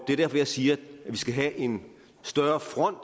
er derfor jeg siger at vi skal have en større front